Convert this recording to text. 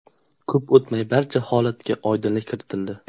Ko‘p o‘tmay barcha holatga oydinlik kiritildi.